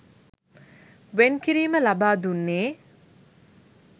වෙන් කිරීම ලබා දුන්නේ